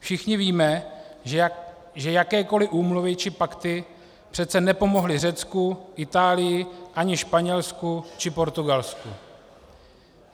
Všichni víme, že jakékoli úmluvy či pakty přece nepomohly Řecku, Itálii, ani Španělsku či Portugalsku.